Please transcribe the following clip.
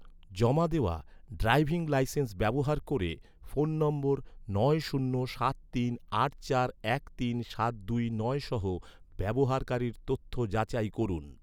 জমা দেওয়া, driving licence ব্যবহার ক’রে, ফোন নম্বর নয় শূন্য সাত তিন আট চার এক তিন সাত দুই নয় সহ, ব্যবহারকারীর তথ্য যাচাই করুন